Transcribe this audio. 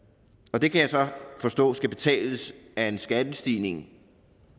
og det kan jeg så forstå skal betales af en skattestigning